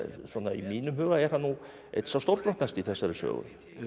mínum huga er hann nú einn sá stórbrotnasti í þessari sögu